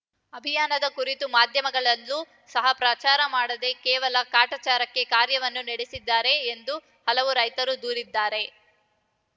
ಅಭಿಯಾನದ ಕುರಿತು ಮಾಧ್ಯಮಗಳಲ್ಲೂ ಸಹ ಪ್ರಚಾರ ಮಾಡದೇ ಕೇವಲ ಕಾಟಾಚಾರಕ್ಕಾಗಿ ಕಾರ್ಯಕ್ರಮ ನಡೆಸಿದ್ದಾರೆ ಎಂದು ಹಲವು ರೈತರು ದೂರಿದ್ದಾರೆ